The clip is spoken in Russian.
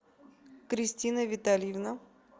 кристина витальевна